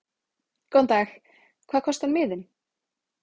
Góðan dag. Hvað kostar miðinn?